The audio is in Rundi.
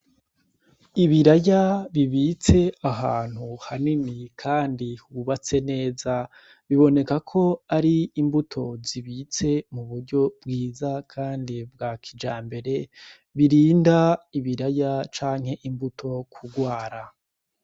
Ibiraya bibitse ahantu hanini, kandi hubatse neza biboneka ko ari imbuto zibitse mu buryo bwiza, kandi bwa kija mbere birinda ibiraya canke imbuto kurwara.